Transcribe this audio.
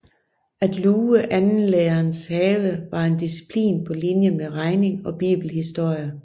At luge andenlærerens have var en disciplin på linje med regning og bibelhistorie